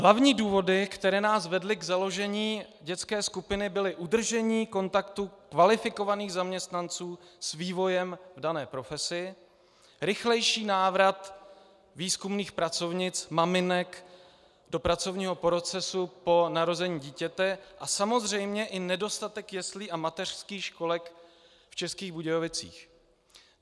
Hlavní důvody, které nás vedly k založení dětské skupiny, byly udržení kontaktu kvalifikovaných zaměstnanců s vývojem v dané profesi, rychlejší návrat výzkumných pracovnic maminek do pracovního procesu po narození dítěte a samozřejmě i nedostatek jeslí a mateřských školek v Českých Budějovicích.